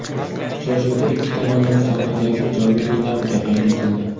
Uchrashuvda ikki tomonlama savdodagi ijobiy dinamika qayd etildi.